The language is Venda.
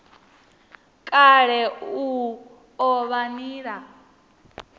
kale i o vha nila